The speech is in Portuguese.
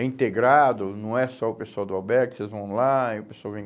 É integrado, não é só o pessoal do albergue, vocês vão lá e o pessoal vem.